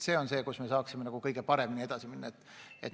See on see, kus me saaksime kõige paremini edasi minna.